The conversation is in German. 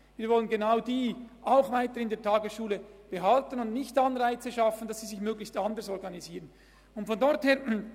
Wir wollen genau die in der Tagesschule behalten und nicht Anreize dafür schaffen, dass sie sich anders organisieren.